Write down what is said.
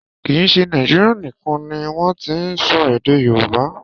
Kì í ṣe Nàíjírìa nìkan ni wọ́n ti n sọ èdè Yorùbá.